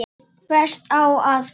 Hvert á að fara?